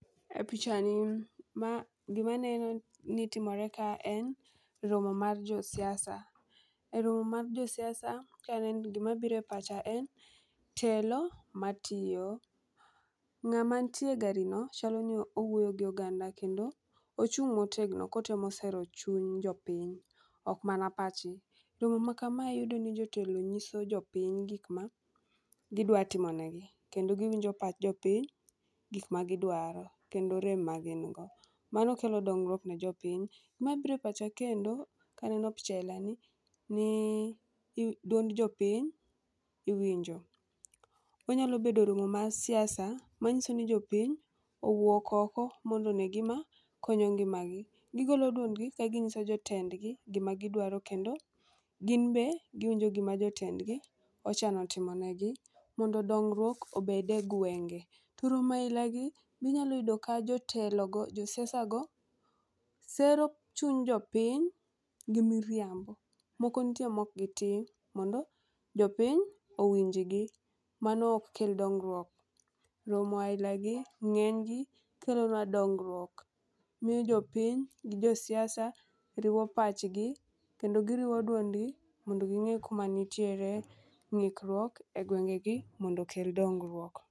E pichani gima aneno ni timore kae en romo mar josiasa. Romo mar josiasa ka aneno to gima biro e pacha en , telo matiyo. Ng'ama nitie e gari no chalo ni owuoyo gi oganda kendo ochung' motegno kotemo sero chuny jopiny ok mana pachgi. Romo ma kamae iyudo ni jotelo nyiso jopiny gik ma gidwa timonegi, kendo giwinjo pach jopiny, gik magidwaro kendo rem magingo. Mano kelo dongruok ne jopiny. Ma biro e pacha kendo kaneno picha ailani, ni dwond jopiny iwinjo. Onyalo bedo romo mar siasa manyiso ni jopiny owuok oko mondo one gima konyo ngimagi. Gigolo dwondgi ka ginyiso jotendgi gima gidwaro kendo ginbe giwinjo gima jotendgi ochano timonegi mondo dongruok obed e gwenge. To romo ailago be inyalo yudo ka jotelogo, josiasago sero chuny jopiny gi miriambo. Moko nitie mok gitim mondo jopiny owinjgi, mano ok kel dongruok. Romo ainagi ng'enygi kelonwa dongruok. Miyo jopiny gi josiaisa riwo pachgi kendo giriwo duondgi mondo ging'e kuma nitiere ng'ikruok e gwengegi mondo okel dongruok.